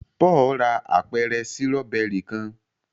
Paul rà apẹrẹ Sírọ́bẹ́rì kán